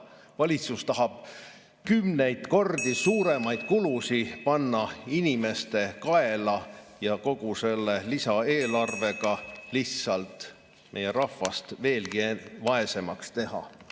Valitsus tahab kümneid kordi suuremaid kulutusi panna inimeste kaela ja kogu selle lisaeelarvega lihtsalt meie rahvast veelgi vaesemaks teha.